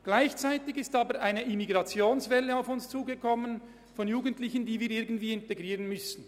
Gleichzeitig kam jedoch eine Migrationswelle auf uns zu, zu der auch viele Jugendliche gehören, die wir irgendwie integrieren müssen.